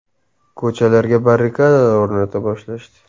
Ko‘chalarga barrikadalar o‘rnata boshlashdi.